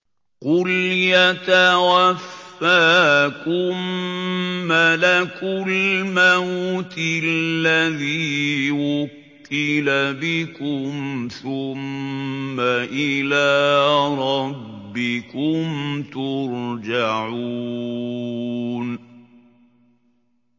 ۞ قُلْ يَتَوَفَّاكُم مَّلَكُ الْمَوْتِ الَّذِي وُكِّلَ بِكُمْ ثُمَّ إِلَىٰ رَبِّكُمْ تُرْجَعُونَ